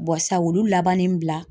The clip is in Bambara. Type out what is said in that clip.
sa olu labanni bila.